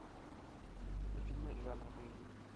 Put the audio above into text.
фильмы жанра боевик